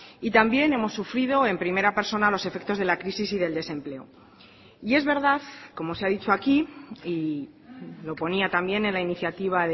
y también hemos sufrido en primera persona los efectos de la crisis y del desempleo y es verdad como se ha dicho aquí y lo ponía también en la iniciativa